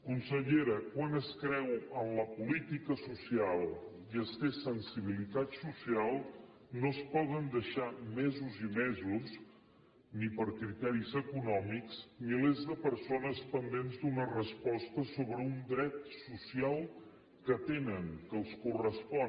consellera quan es creu en la política social i es té sensibilitat social no es poden deixar mesos i mesos ni per criteris econòmics milers de persones pendents d’una resposta sobre un dret social que tenen que els correspon